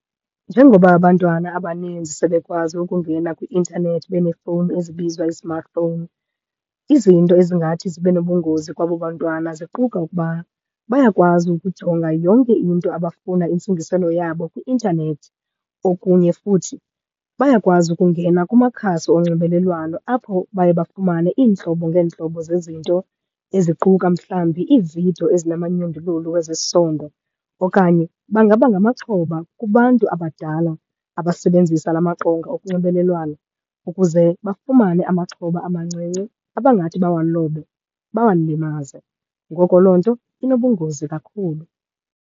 Njengoba abantwana abaninzi sebekwazi ukungena kwi-intanethi beneefowuni ezibizwa i-smartphone, izinto ezingathi zibe nobungozi kwabo bantwana ziquka ukuba bayakwazi ukujonga yonke into abafuna intsingiselo yabo kwi-intanethi. Okunye futhi bayakwazi ukungena kumakhasi onxibelelwano, apho baye bafumane iintlobo ngeentlobo zezinto eziquka mhlawumbi iividiyo ezinamanyundululu wezesondo. Okanye bangaba ngamaxhoba kubantu abadala abasebenzisa la maqonga okunxibelelwano ukuze bafumane amaxhoba amancinci, abangathi bawalobe, bawalimaze. Ngoko loo nto inobungozi kakhulu.